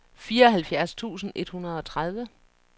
fireoghalvfjerds tusind et hundrede og tredive